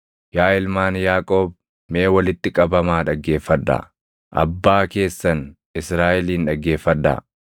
“Yaa ilmaan Yaaqoob mee walitti qabamaa dhaggeeffadhaa; abbaa keessan Israaʼelin dhaggeeffadhaa.